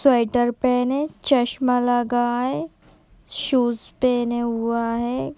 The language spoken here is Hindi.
स्वैटर पहने चश्मा लगाए शूज़ पहने हुआ है।